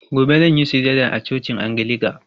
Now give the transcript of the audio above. Gobe zan yi sujada a cocin angilika.